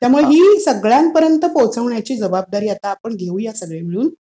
त्यामुळं ही सगळ्यांपर्यंत पोहोचवण्याची जबाबदारी आता आपण घेऊया सगळे मिळून.